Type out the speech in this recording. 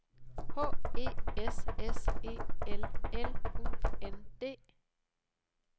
H E S S E L L U N D